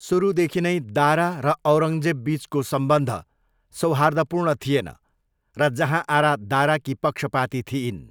सुरुदेखि नै दारा र औरङ्गजेबबिचको सम्बन्ध सौहार्दपूर्ण थिएन र जहाँआरा दाराकी पक्षपाती थिइन्।